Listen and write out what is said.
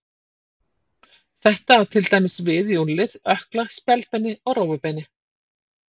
Þetta á til dæmis við í úlnlið, ökkla, spjaldbeini og rófubeini.